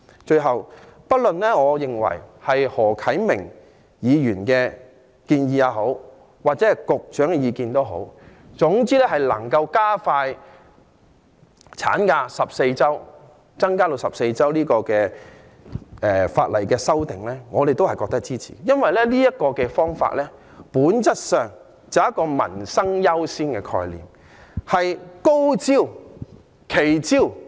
最後，我認為不論是何啟明議員的建議或局長的議案也好，總言之能夠加快將產假增加至14周的法例修訂，我們都會支持，因為這個方法本質上是基於民生優先的概念，是高招、奇招。